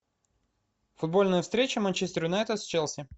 футбольная встреча манчестер юнайтед с челси